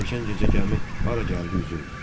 Keçən gecə gəmi hara gəldi üzüldü.